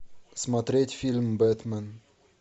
смотреть фильм бэтмен